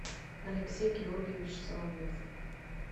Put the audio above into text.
алексей георгиевич соловьев